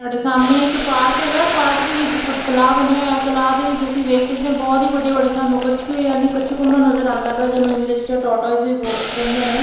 ਸਾਡੇ ਸਾਹਮਣੇ ਇੱਕ ਪਾਰਕ ਹੈਗਾ ਪਾਰਕ ਦੇ ਵਿੱਚ ਤਲਾਬ ਬਣਿਆ ਹੋਇਆ ਤਲਾਅ ਦੇ ਵਿੱਚ ਅਸੀਂ ਵੇਖ ਸਕਦੇ ਆ ਬਹੁਤ ਹੀ ਵੱਡੇ ਵੱਡੇ ਸਨ ਕੱਛੂਐ ਯਾਨੀ ਕੱਛੂਕੁੰਮਾ ਨਜ਼ਰ ਆਉਂਦਾ ਪਿਆ ਜਿਹਨੂੰ ਇੰਗਲਿਸ਼ ਚ ਟੋਟਵਾਈਸ ਵੀ ਕਹਿੰਦੇ ਨੇ --